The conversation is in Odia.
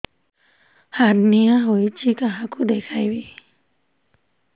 ହାର୍ନିଆ ହୋଇଛି କାହାକୁ ଦେଖେଇବି